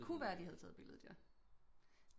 Det kunne være de har taget billedet ja